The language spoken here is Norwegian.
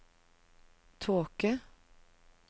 tåke